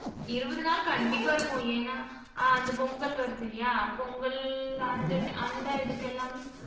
இருபது நாள் கண்டிப்பா இருக்கும். ஏன்னா, ஆஹ் இந்த பொங்கல் வருதில்லையா? பொங்கல் அந்த அந்த இதுக்கெல்லாமே